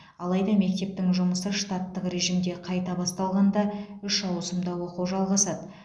алайда мектептің жұмысы штаттық режимде қайта басталғанда үш ауысымда оқу жалғасады